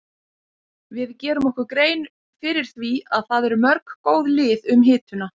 Við gerum okkur grein fyrir því að það eru mörg góð lið um hituna.